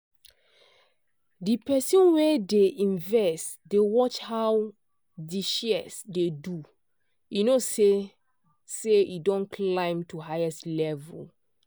di person wey dey invest dey watch how di shares dey do e know say say e don climb to highest level.